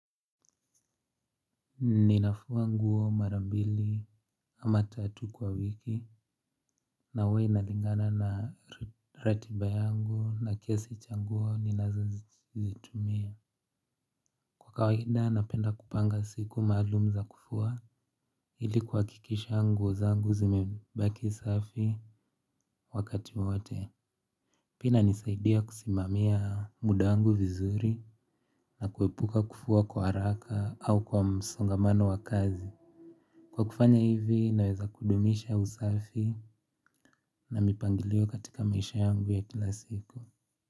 Ninafua nguo mara mbili ama tatu kwa wiki na huwa inalingana na ratiba yangu na kiasi cha nguo ninazazitumia. Kwa kawaida napenda kupanga siku maalumu za kufua, ili kuhakikisha nguo zangu zimebaki safi wakati wote. Pia inasaidia kusimamia muda wangu vizuri na kuepuka kufua kwa haraka au kwa msongamano wa kazi. Kwa kufanya hivi naweza kudumisha usafi na mipangilio katika maisha yangu ya kila siku.